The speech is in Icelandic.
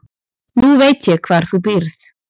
Nú veit ég hvar þú býrð.